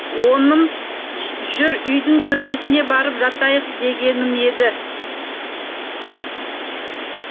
оным жүр үйдің төбесіне барып жатайық дегенім еді